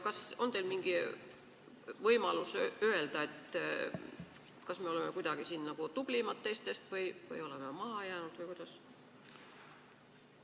Kas on teil mingi võimalus öelda, kas me oleme siin kuidagi teistest tublimad või maha jäänud või kuidas?